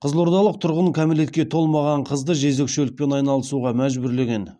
қызылордалық тұрғын кәмелетке толмаған қызды жезөкшелікпен айналысуға мәжбүрлеген